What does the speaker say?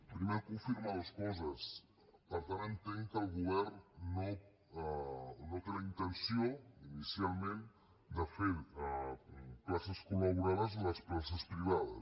primer confirmar dues coses per tant entenc que el govern no té la intenció inicialment de fer places col·laborades de les places privades